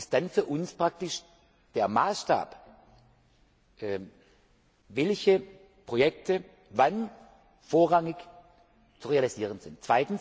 Sie ist dann für uns praktisch der Maßstab, welche Projekte wann vorrangig zu realisieren sind.